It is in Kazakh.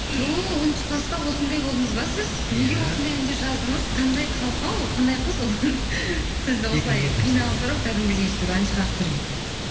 ту оныншы класста осындай болдыңыз ба сіз неге осындай әндер жаздыңыз қандай қалқа ол қандай қыз ол сізді осылай қиналдырып кәдімгідей өйстіп ән шығартып жүрген